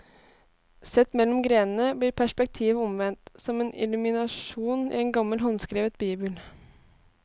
Sett mellom grenene blir perspektivet omvendt, som en illuminasjon i en gammel håndskrevet bibel.